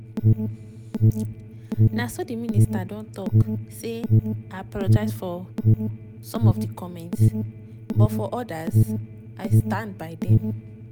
na so di minister don tok say im apologise for some of di comments but for odas im stand by dem.